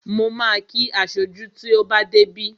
Mo ma kí aṣojú tí ó bá ti dé bí